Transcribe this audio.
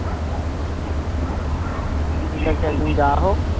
ঠিক আছে একদিন যাওয়া হোক